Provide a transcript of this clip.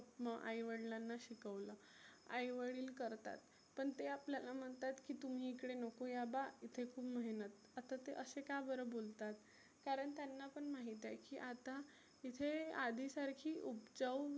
आई वडीलांना शिकवलं. आई वडील करतात पण ते आपल्याला म्हणतात की तुम्ही इकडे नको या बा इथे खुप मेहनत. आता ते असे का बरं बोलतात? कारण त्यांनापण माहिती आहे की आता इथे आधी सारखी उबजाऊ